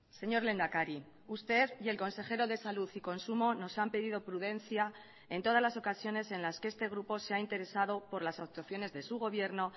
señor lehendakari usted y el consejero de salud y consumo nos han pedido prudencia en todas las ocasiones en las que este grupo se ha interesado por las actuaciones de su gobierno